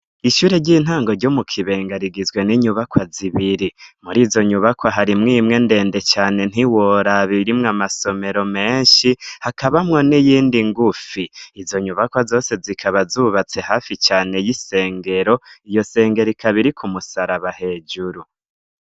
Ishure ry'intango ryo mu Kibenga rigizwe n'inyubakwa zibiri. Muri izo nyubakwa harimwo imwe ndende cane ntiworaba irimwe amasomero menshi, hakabamwo n'iyindi ngufi . Izo nyubakwa zose zikaba zubatse hafi cane y'isengero; iyo sengero ikaba iriko umusaraba hejuru.